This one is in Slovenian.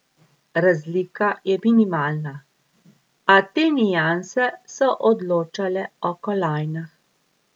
Razlika je minimalna, a te nianse so odločale o kolajnah.